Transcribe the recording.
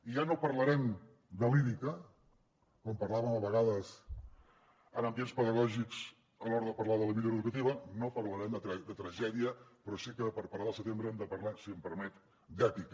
i ja no parlarem de lírica com parlàvem a vegades en ambients pedagògics a l’hora de parlar de la millora educativa no parlarem de tragèdia però sí que per parlar del setembre hem de parlar si em permet d’èpica